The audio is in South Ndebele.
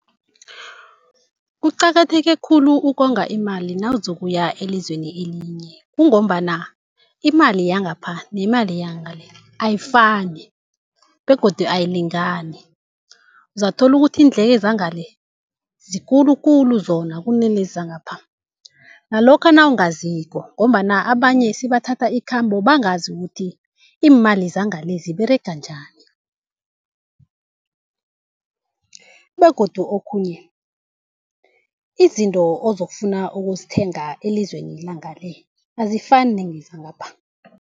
Kuqakatheke khulu ukonga imali nawuzokuya elizweni elinye. Kungombana imali yangapha nemali yangele ayifani begodu ayilingani. Uzatholukuthi iindleko zangale zikulukulu zona kunalezi zangapha nalokha nawungaziko ngombana abanye sibathatha ikhambo bangazi ukuthi iimali zangale ziberega njani, begodu okhunye izinto ozokufuna ukuzithenga elizweni langale azifani nezangapha.